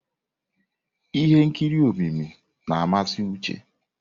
Ihe nkiri omimi na-amasị Uche.